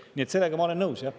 Nii et sellega ma olen nõus, jah.